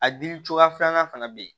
A dili cogoya filanan fana bɛ ye